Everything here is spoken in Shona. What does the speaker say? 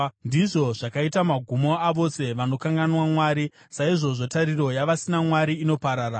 Ndizvo zvakaita magumo avose vanokanganwa Mwari; saizvozvo tariro yavasina Mwari inoparara.